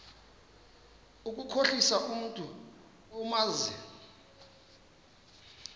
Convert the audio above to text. ukukhohlisa umntu omazi